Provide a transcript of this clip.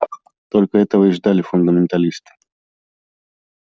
только этого и ждали фундаменталисты